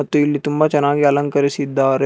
ಮತ್ತು ಇಲ್ಲಿ ತುಂಬಾ ಚೆನ್ನಾಗಿ ಅಲಂಕರಿಸಿದ್ದಾರೆ.